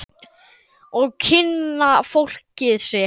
Og kynna fólkið sitt.